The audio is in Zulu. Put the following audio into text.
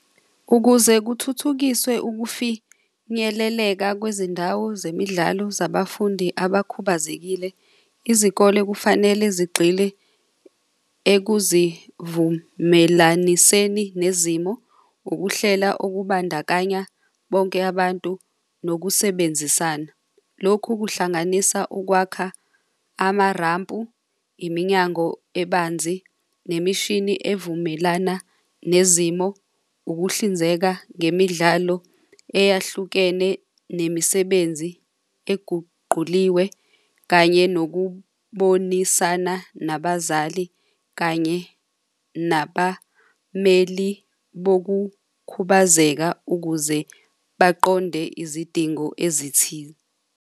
Ukuze kuthuthukiswe ukufinyeleleka kwezindawo zemidlalo zabafundi abakhubazekile, izikole kufanele zigxile ekuzivumelaniseni nezimo. Ukuhlela okubandakanya bonke abantu nokusebenzisana. Lokhu kuhlanganisa ukwakha amarampu, iminyango ebanzi nemishini evumelana nezimo. Ukuhlinzeka ngemidlalo eyahlukene nemisebenzi eguquliwe kanye nokubonisana nabazali kanye nabameli bokukhubazeka ukuze baqonde izidingo ezithile.